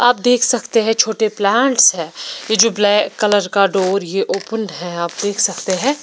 आप देख सकते है छोटे प्लांट्स है ये जो ब्लैक का डोर ये ओपन्ड है आप देख सकते है।